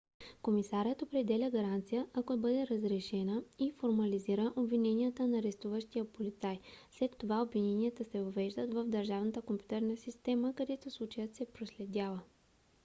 комисарят определя гаранция ако бъде разрешена и формализира обвиненията на арестуващия полицай. след това обвиненията се въвеждат в държавната компютърна система където случаят се проследява